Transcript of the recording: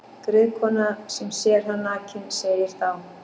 Griðkona sem sér hann nakinn segir þá: